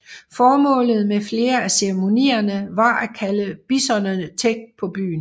Formålet med flere af ceremonierne var at kalde bisonerne tæt på byen